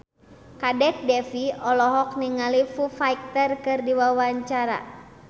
Kadek Devi olohok ningali Foo Fighter keur diwawancara